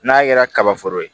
N'a kɛra kaba foro ye